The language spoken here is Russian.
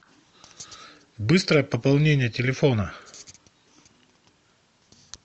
быстрое пополнение телефона